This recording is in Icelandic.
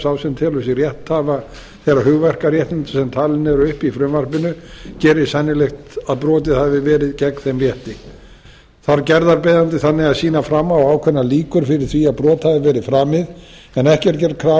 sá sem telur sig rétthafa þeirra hugverkaréttinda sem talin eru upp í frumvarpinu gerir sennilegt að brotið hafi verið gegn þeim rétti þarf gerðarbeiðandi þannig að sýna fram á ákveðnar líkur fyrir því að brot hafi verið framið en ekki er gerð krafa um að hann